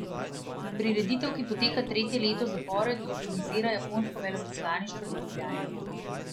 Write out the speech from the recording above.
Prireditev, ki poteka tretje leto zapored, organizira japonsko veleposlaništvo v Ljubljani.